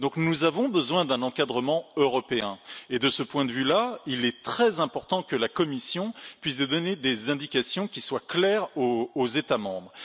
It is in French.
Donc, nous avons besoin d'un encadrement européen et de ce point de vue là il est très important que la Commission puisse donner des indications claires aux États membres.